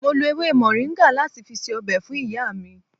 Mo lo ewé moringa láti fi ṣe ọbẹ̀ fún ìyá mi